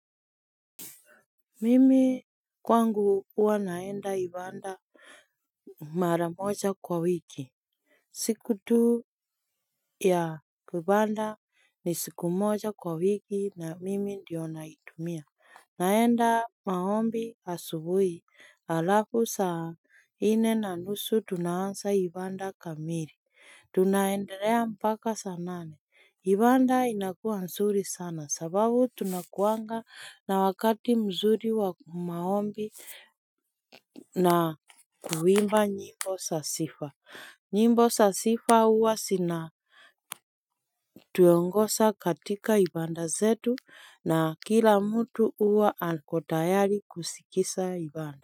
Mimi kwangu ua naenda ibanda maramoja kwa wiki siku tu ya ibanda ni siku moja kwa wiki na mimi ndio naitumia naenda maombi asubui alafu saa ine na nusu tunaasa ibanda kamili Tunaendelea mpaka sanane, ibanda inakuwa nsuri sana sababu tunakuanga na wakati mzuri wa maombi na kuimba nyimbo sasifa, nyimbo sasifa uwa sina tuyongosa katika ibanda zetu na kila mtu uwa akotayari kusikisa ibanda.